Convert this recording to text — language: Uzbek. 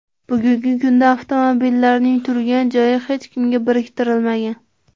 Bugungi kunda avtomobillarning turgan joyi hech kimga biriktirilmagan.